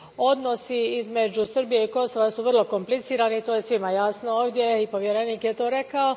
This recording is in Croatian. Odnosi između Srbije i Kosova vrlo su komplicirani, to je svima jasno ovdje i povjerenik je to rekao.